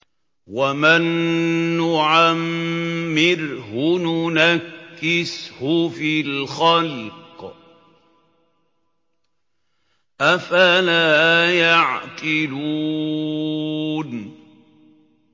وَمَن نُّعَمِّرْهُ نُنَكِّسْهُ فِي الْخَلْقِ ۖ أَفَلَا يَعْقِلُونَ